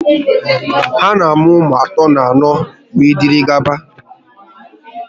Ha na-amụ ụmụ atọ, anọ, wee dịrị gaba